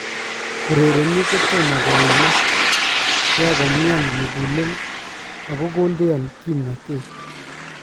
Urereniik kotomo koimaak , kiako mean mugulel , ako kondean kimnatet